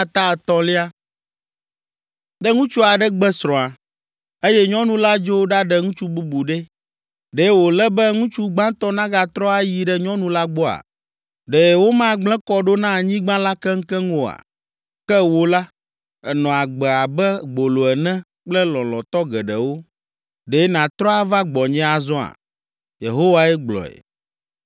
“Ne ŋutsu aɖe gbe srɔ̃a, eye nyɔnu la dzo ɖaɖe ŋutsu bubu ɖe, ɖe wòle be ŋutsu gbãtɔ nagatrɔ ayi ɖe nyɔnu la gbɔa? Ɖe womagblẽ kɔ ɖo na anyigba la keŋkeŋ oa? Ke wò la, ènɔ agbe abe gbolo ene kple lɔlɔ̃tɔ geɖewo. Ɖe nàtrɔ ava gbɔnye azɔa?” Yehowae gblɔe.